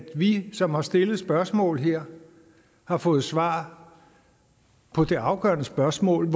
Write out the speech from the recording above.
vi som har stillet spørgsmål her har fået svar på det afgørende spørgsmål